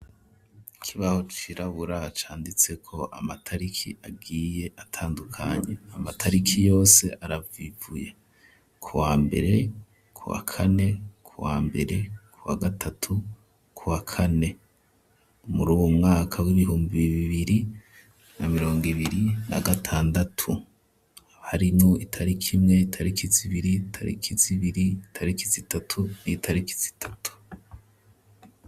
Kibaho ciraburaca anditse ko amatariki agiye atandukanya amatariki yose aravivuye ku wa mbere ku wa kane ku wa mbere ku wa gatatu ku wa kane muri uwu mwaka w'ibihumbi biibiri na mirongo ibiri ra gatanu andatu harinu itariki imwe tariki zibiri tariki zibiri tarikizitatu iyitariki z itatu.